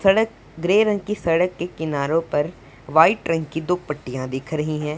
सड़क ग्रे रंग की सड़क के किनारो पर वाइट रंग की दो पट्टियां दिख रही हैं।